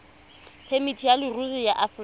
phemiti ya leruri ya aforika